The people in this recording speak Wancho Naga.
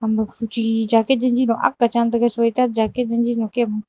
makhu chu jaket jenji ak chan taga soitat jaket janji kem.